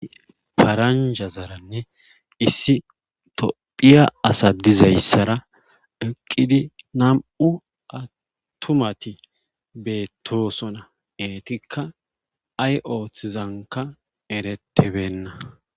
Faranja zaranne issi tophiya asa dizayssara eqqidi nam'u attumati beettosona eetikka ay oothizanka eretebenna